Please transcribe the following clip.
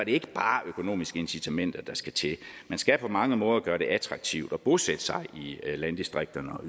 ikke bare økonomiske incitamenter der skal til man skal på mange måder gøre det attraktivt at bosætte sig i landdistrikterne og